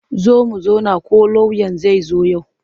Zo mu zauna ko lauyan zai zo yau.